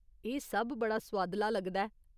एह् सब बड़ा सुआदला लगदा ऐ।